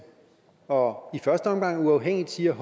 og i første omgang uafhængigt siger at